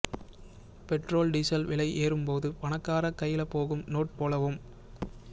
petrol diesel வெல ஏறும் போது பணக்கார கைல போகும் நோட் போலவும்